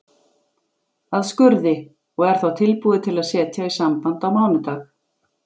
að skurði, og er þá tilbúið til að setja í samband á mánudag.